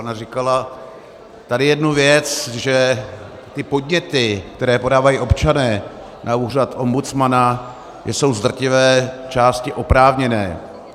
Ona říkala tady jednu věc, že ty podněty, které podávají občané na úřad ombudsmana, jsou z drtivé části oprávněné.